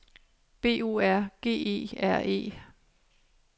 B O R G E R E